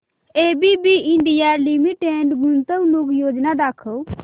ABB India limited गुंतवणूक योजना दाखव